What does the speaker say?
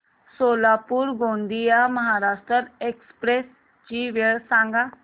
Solapur Gondia Maharashtra express ची वेळ सांगा